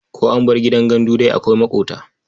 Ko an bar gidan gandu dai akwai maƙota.